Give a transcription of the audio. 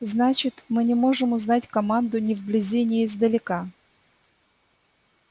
значит мы не можем узнать команду ни вблизи ни издалека